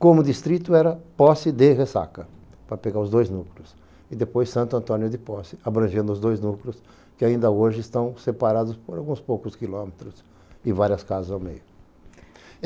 Como distrito era Posse de Ressaca, para pegar os dois núcleos, e depois Santo Antônio de Posse, abrangendo os dois núcleos, que ainda hoje estão separados por alguns poucos quilômetros e várias casas ao meio.